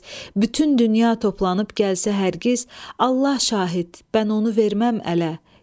Bütün dünya toplanıb gəlsə hər giz, Allah şahid, mən onu verməm ələ.